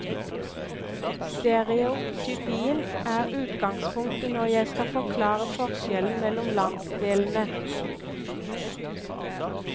Stereotypien er utgangspunktet når jeg skal forklare forskjellen mellom landsdelene.